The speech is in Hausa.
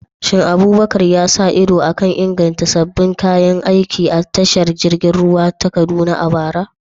Shin Abubakar ya sa ido a kan inganta sabbin kayan aiki a tashar jirgin ruwa ta Kaduna a bara?